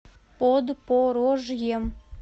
подпорожьем